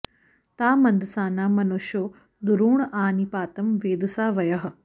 ता मन्दसाना मनुषो दुरोण आ नि पातं वेदसा वयः